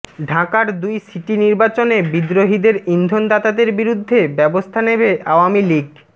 ঢাকার দুই সিটি নির্বাচনে বিদ্রোহীদের ইন্ধনদাতাদের বিরুদ্ধে ব্যবস্থা নেবে আওয়ামী লীগ